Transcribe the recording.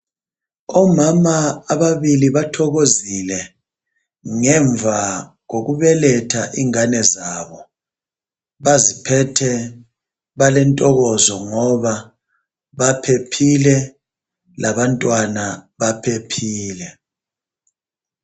Omama ababili bathokozile ngemva kokubeletha ingane zabo baziphethe balentokozo ngoba baphephile labantwana baphephile